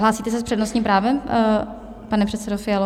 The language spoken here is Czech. Hlásíte se s přednostním právem, pane předsedo Fialo?